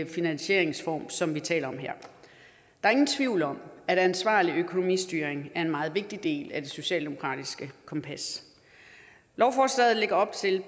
finansieringsform som vi taler om her der er ingen tvivl om at ansvarlig økonomistyring er en meget vigtig del af det socialdemokratiske kompas lovforslaget lægger op til